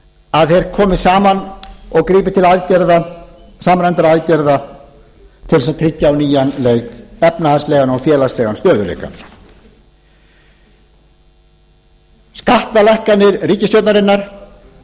að þeir komi saman og grípi til samræmdra aðgerða til þess að tryggja á nýjan leik efnahagslegan og félagslegan stöðugleika skattalækkanir ríkisstjórnarinnar